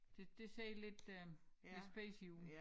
Det det ser lidt lidt spacy ud